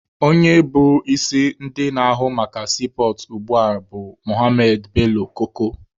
Onye bụ onye isi ndị na-ahụ maka siipọọtụ ugbua bụ Mohammed Bello Koko.